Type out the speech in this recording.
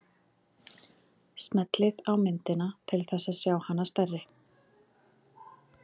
Smellið á myndina til þess að sjá hana stærri.